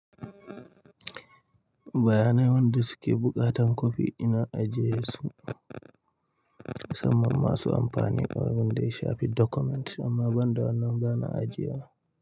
Bayanai wanda suke buƙatan kwafi ina ajiye su musamman masu amfani wanda ya shafi documents amma ban da wannan bana ajiye wa.